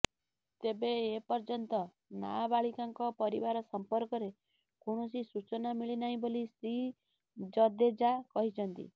ତେବେ ଏ ପର୍ଯ୍ୟନ୍ତ ନାବାଳିକାଙ୍କ ପରିବାର ସମ୍ପର୍କରେ କୌଣସି ସୂଚନା ମିଳିନାହିଁ ବୋଲି ଶ୍ରୀ ଜଦେଜା କହିଛନ୍ତି